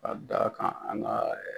Ka d'a kan an ka